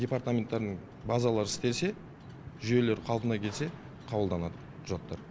департаменттарының базалары істесе жүйелері қалпына келсе қабылданады құжаттар